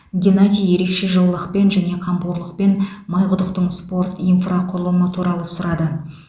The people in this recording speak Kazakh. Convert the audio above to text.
геннадий ерекше жылылықпен және қамқорлықпен майқұдықтың спорт инфрақұрылымы туралы сұрады